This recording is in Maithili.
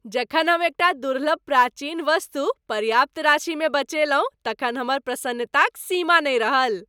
जखन हम एकटा दुर्लभ प्राचीन वस्तु पर्याप्त राशिमे बेचलहुँ तखन हमर प्रसन्नताक सीमा नहि रहल।